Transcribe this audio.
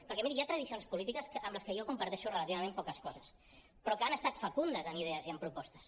perquè miri hi ha tradicions polítiques amb les que jo comparteixo relativament poques coses però que han estat fecundes amb idees i amb propostes